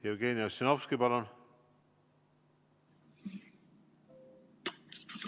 Jevgeni Ossinovski, palun!